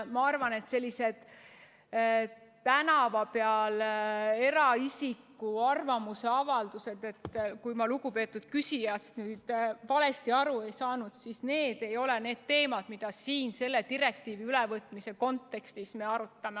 Ma arvan, et sellised tänava peal kuuldud eraisiku arvamusavaldused – kui ma lugupeetud küsijast nüüd valesti aru ei saanud – ei ole need teemad, mida me siin selle direktiivi ülevõtmise kontekstis arutame.